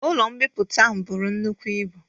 Ụlo mbipụta ahụ bụrụ nnukwụ ịbu